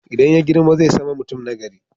Idan ya girma zai sama mutum na gari